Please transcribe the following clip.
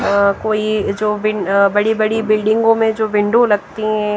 अ कोई जो बिन अ बड़ी बड़ी बिल्डिंगों में जो विंडो लगती है।